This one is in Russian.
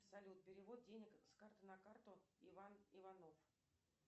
салют перевод денег с карты на карту иван иванов